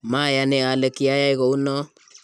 mayani ale kiyai kou noe